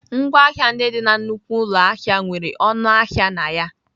Ngwaahịa ndị dị na nnukwu ụlọ ahịa nwere ọnụ ahịa na ya.